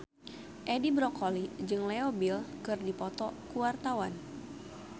Edi Brokoli jeung Leo Bill keur dipoto ku wartawan